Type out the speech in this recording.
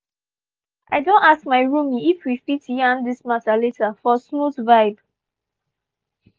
i don ask my roomie if we we fit yarn this matter later for smooth vibe.